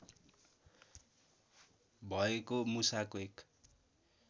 भएको मुसाको एक